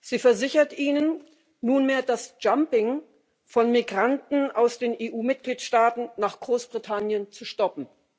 Sie versichert ihnen nunmehr, das jumping von Migranten aus den EU Mitgliedstaaten nach Großbritannien zu stoppen.